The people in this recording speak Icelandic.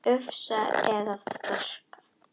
Ufsa eða þorska?